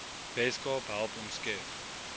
weskaap help omskep